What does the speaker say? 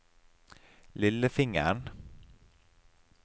lillefingeren